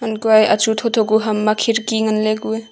kue achu thotho kue ham ma khirki nganley kue.